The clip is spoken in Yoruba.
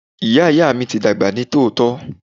Ìyá Ìyá mi ti dàgbà ní tòótọ́.